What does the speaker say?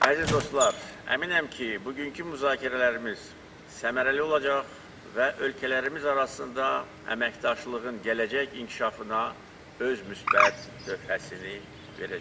Əziz dostlar, əminəm ki, bugünkü müzakirələrimiz səmərəli olacaq və ölkələrimiz arasında əməkdaşlığın gələcək inkişafına öz müsbət töhfəsini verəcək.